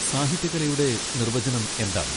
സാഹിത്യകലയുടെ നിർവചനം എന്താണ്?